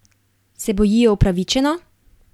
Se bojijo upravičeno?